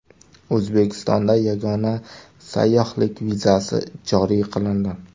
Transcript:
O‘zbekistonda yagona sayyohlik vizasi joriy qilindi.